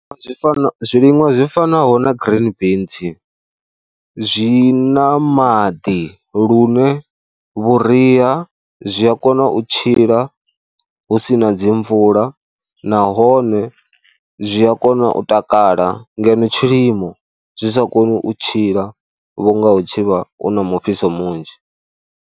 Zwi fana zwiliṅwa zwi fanaho na green beans zwi na maḓi lune vhuria zwi a kona u tshila hu si na dzi mvula nahone zwi a kona u takala ngeno tshilimo zwi sa koni u tshila vhu nga hu tshi vha hu na mufhiso munzhi.